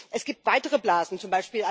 Es gibt weitere Blasen z.